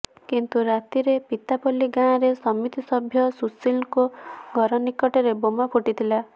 କିନ୍ତୁ ରାତିରେ ପିତାପଲ୍ଲୀ ଗାଁରେ ସମିତି ସଭ୍ୟ ସୁଶୀଲ୍ଙ୍କ ଘର ନିକଟରେ ବୋମା ଫୁଟିଥିଲା